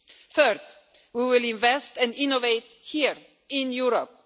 Third, we will invest and innovate here in Europe.